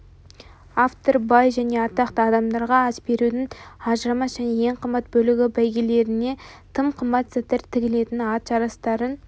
автор бай және атақты адамдарға ас берудің ажырамас және ең қымбат бөлігі бәйгелеріне тым қымбат заттар тігілетін ат жарыстарын